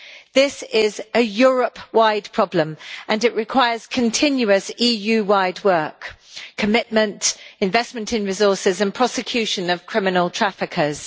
This is a Europe wide problem and it requires continuous EU wide work, commitment, investment in resources and prosecution of criminal traffickers.